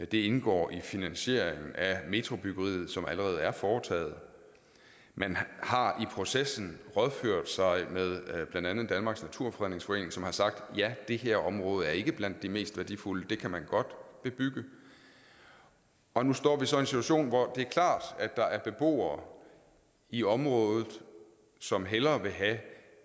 det indgår i finansieringen af metrobyggeriet som allerede er foretaget man har i processen rådført sig med blandt andet danmarks naturfredningsforening som har sagt ja det her område er ikke blandt de mest værdifulde og det kan man godt bebygge og nu står vi så i en situation hvor det er klart at der er beboere i området som hellere vil have